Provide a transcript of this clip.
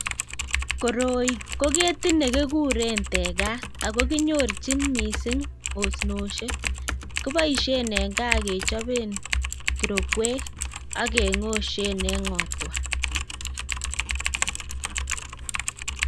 Koroi ko ketit nekikuuren tekat ,ako kinyorchin missing osnosiek, kiboishien eng kaa kechobeen kirokwek ak kengotseen eng ngotwa.